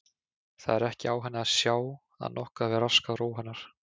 Það var ekki á henni að sjá að nokkuð hefði raskað ró hennar.